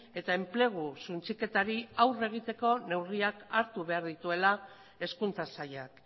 eta enplegu suntsiketari aurre egiteko neurriak hartu behar dituela hezkuntza sailak